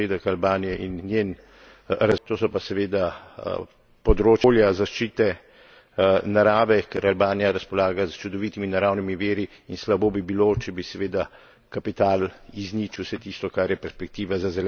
razvoj, to so pa seveda področja okolja, zaščite narave, ker Albanija razpolaga s čudovitimi naravnimi viri in slabo bi bilo, če bi seveda kapital izničil vse tisto, kar je perspektiva za zelena delovna mesta in zeleno energijo.